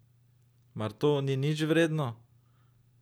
Mar to ni nič vredno?